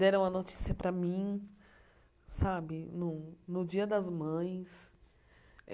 Deram a notícia para mim sabe no no Dia das Mães.